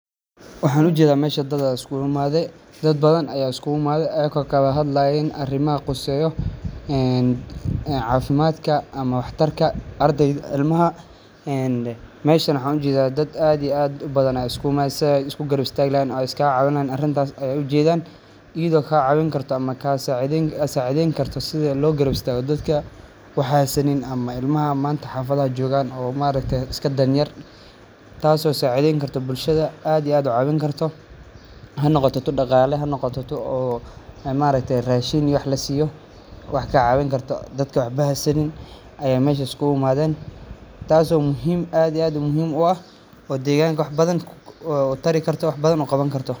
Waxaan u jeda meesha dad isku umaade. Dad badan ayaa isku umaade ay koo kaba had laheyn arrimo ah quseeyo, een, caafimaadka ama wakhtarka ardayd ilmaha. Eeen, meesha ranxu jida dad aad iyo aad u badan ay isku mas'eedsaan isku garabstaa laheyn oo iska caawinaan arrintaas ay u jeedaan. Iyido kaa caawin karto ama kaa saacideen, saacideen karto sideen loo garabstaa oo dadka waxaanu sanin ama ilmaha maanta xafada joogaan oo maar reeyta iska dan yar. Taasoo saacideen karto bulshada aad iyo aad u caawin karto. Hani wada noqotay dhaqaale hani noqotay oo maar reetay raashin iyo wax la siiyo. Wax kaa caawin karto. Dadka waxba ah sannin ayay meesha isku umaadeen. Taasoo muhiim aad iyo aad u muhiim oo ah. Wuxuu deegaanka waxba badan uu tarii karto waxbadan u qaban karto.